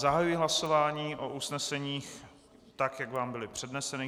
Zahajuji hlasování o usneseních, tak jak vám byla přednesena.